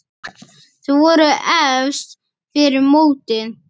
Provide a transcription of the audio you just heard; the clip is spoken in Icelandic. Þau voru efst fyrir mótið.